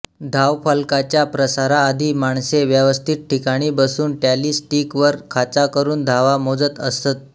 धावफलकाच्या प्रसाराआधी माणसे व्यवस्थित ठिकाणी बसून टॅली स्टीक वर खाचा करून धावा मोजत असत